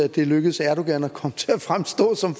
at det er lykkedes erdogan at komme til at fremstå som